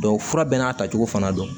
fura bɛɛ n'a tacogo fana don